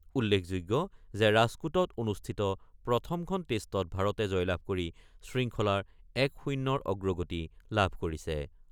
উল্লেখযোগ্য যে ৰাজকোটত অনুষ্ঠিত প্ৰথমখন টেষ্টত ভাৰতে জয়লাভ কৰি শৃংখলাৰ ১-০ৰ অগ্ৰগতি লাভ কৰিছে।